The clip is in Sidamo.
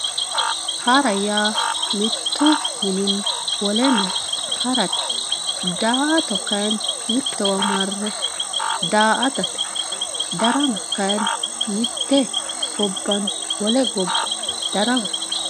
Hara ya mittu mininni wale mine harate daato kayinni mitowa mare daatatte darama kayinni miyye gobbanni wolle goba daramate